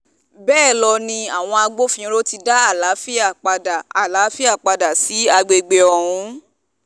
bẹ́ẹ̀ lọ ni àwọn agbófinró ti dá àlàáfíà padà àlàáfíà padà sí àgbègbè ọ̀hún